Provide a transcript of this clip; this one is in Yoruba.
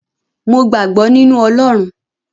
Mo gbàgbọ́ nínu Ọlọrun.